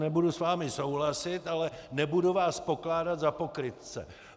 Nebudu s vámi souhlasit, ale nebudu vás pokládat za pokrytce.